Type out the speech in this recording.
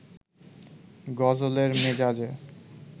গজলের মেজাজে